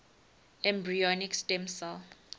embryonic stem cell